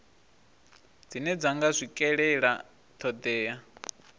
dzine dza nga swikelela thodea